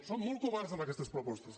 són molt covards amb aquestes propostes